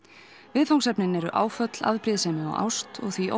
viðfangsefnin eru áföll afbrýðisemi og ást og því